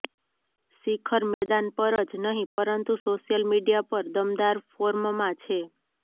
શિખર મેદાન પર જ નહીં પરંતુ સોશ્યલ મીડિયા પર દમદાર ફોર્મમાં છે